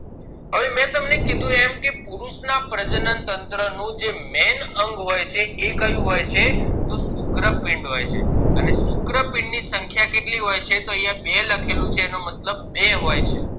કેમ કે પુરુષ ના પ્રજનન તંત્ર નું જે main અંગ હોય છે એ કયું હોય છે તો શુક્રપિન્ડ હોય છે અને શુક્રપિન્ડ ની સંખ્યા કેટલી હોય છે તો અહિયાં બે લખેલું છે તો એનો મતલબ બે હોય છે